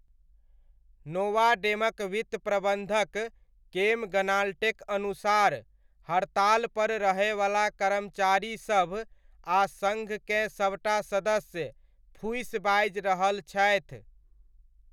नोवामेडक वित्त प्रबन्धक केम ग्नाल्टेक अनुसार, हड़तालपर रहयवला कर्मचारीसभ आ सङ्घकेँ सबटा सदस्य, फूसि बाजि रहल छथि।